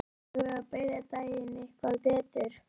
Eigum við að byrja daginn eitthvað betur?